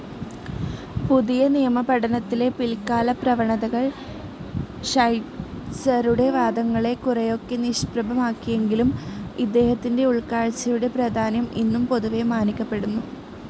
പുതിയനിയമപഠനത്തിലെ പിൽകാലപ്രവണതകൾ ഷൈറ്റ്‌സറുടെ വാദങ്ങളെ കുറെയൊക്കെ നിഷ്പ്രഭമാക്കിയെങ്കിലും അദ്ദേഹത്തിൻ്റെ ഉൾകാഴ്‌ചയുടെ പ്രാധാന്യം എന്നും പൊതുവെ മാനിക്കപ്പെടുന്നു.